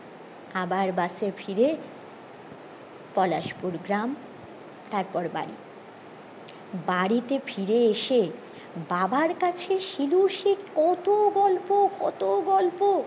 আবার বসে ফিরে পলাশপুর গ্রাম তারপর বাড়ি বাড়িতে ফায়ার এসে বাবার কাছে শিলু সে কত গল্প কত গল্প